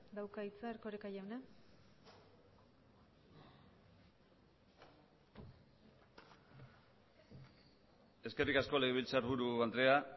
dauka hitza erkoreka jauna eskerrik asko legebiltzarburu andrea